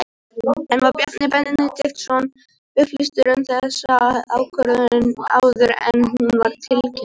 En var Bjarni Benediktsson upplýstur um þessa ákvörðun áður en hún var tilkynnt?